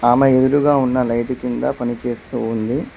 ఆమె ఎదురుగా ఉన్న లైట్ కింద పనిచేస్తూ ఉంది.